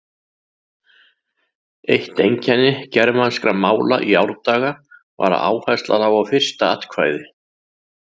Eitt einkenni germanskra mála í árdaga var að áhersla lá á fyrsta atkvæði.